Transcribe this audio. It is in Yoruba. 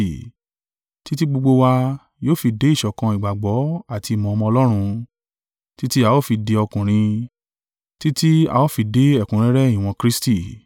Títí gbogbo wa yóò fi dé ìṣọ̀kan ìgbàgbọ́ àti ìmọ̀ Ọmọ Ọlọ́run, títí a ó fi di ọkùnrin, títí a ó fi dé ẹ̀kúnrẹ́rẹ́ ìwọ̀n Kristi.